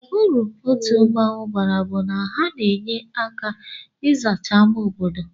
Uru otu mmụọnwụ bara bu na ha n'enye aka izacha ama obodo.